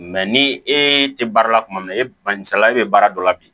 ni e tɛ baara la kuma min na e misali e bɛ baara dɔ la bi